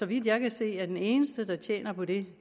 vidt jeg kan se er den eneste der tjener på det